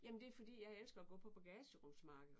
Jamen det er fordi jeg elsker at gå på bagagerumsmarked